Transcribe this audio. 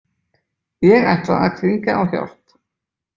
Ég ætla að hringja á hjálp